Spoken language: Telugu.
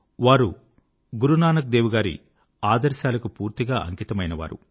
వారు గురునానక్ దేవ్ గారి ఆదర్శాలకు పూర్తిగా అంకితమైనవారు